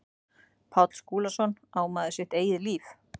Páll Skúlason, Á maður sitt eigið líf?